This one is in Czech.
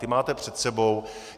Ty máte před sebou.